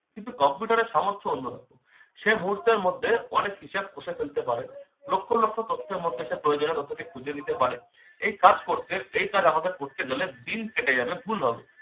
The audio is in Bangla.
কিন্তু computer এর সামর্থ্য অন্যরকম। সে মুহূর্তের মধ্যে অনেক হিসাব কষে ফেলতে পারে লক্ষ লক্ষ তথ্যের মধ্যে সে প্রয়োজনীয় তথ্যটি খুঁজে নিতে পারে। এই কাজ করতে এই কাজ আমাদের করতে গেলে দিন কেটে যাবে ভুল হবে।